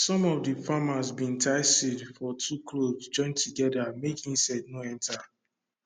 some of de farmers bin tie seed for two cloth join together make insect no enter